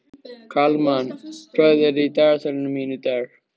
Kalmann, hvað er í dagatalinu mínu í dag?